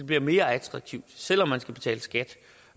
bliver mere attraktivt selv om man skal betale skat